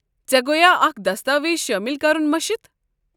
ژےٚ گویا اكھ دستاویز شٲمِل کرُن مٔشِتھ ؟